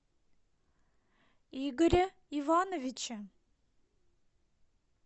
игоре ивановиче